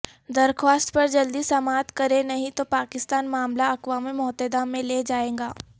درخواست پر جلدی سماعت کریں نہیں تو پاکستان معاملہ اقوام متحدہ میں لے جائے گا